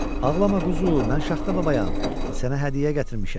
Ağlama quzu, mən Şaxta babayam, sənə hədiyyə gətirmişəm.